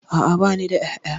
A'a bani da ƴaƴa